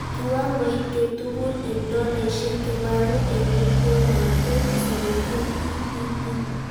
Kiwangoit ketugul eng dollaishek kebaru eng itondoab 2017PPP